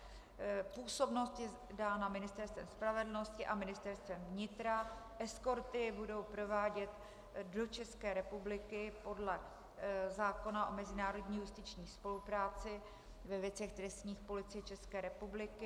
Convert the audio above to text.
Působnost je dána Ministerstvem spravedlnosti a Ministerstvem vnitra, eskorty bude provádět do České republiky podle zákona o mezinárodní justiční spolupráci ve věcech trestních Policie České republiky.